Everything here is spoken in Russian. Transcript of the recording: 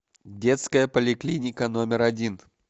детская поликлиника номер один